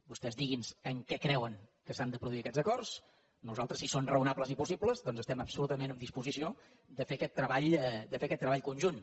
vostès digui’ns en què creuen que s’han de produir aquests acords nosaltres si són raonables i possibles doncs estem absolutament en disposició de fer aquest treball conjunt